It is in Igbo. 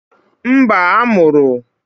Mba, a mụrụ